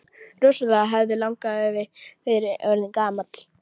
Rosalega hefði langafi verið orðinn gamall!